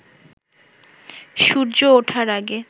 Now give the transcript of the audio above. সূর্য ওঠার আগে